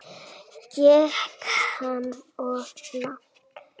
Gekk hann of langt?